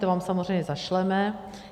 To vám samozřejmě zašleme.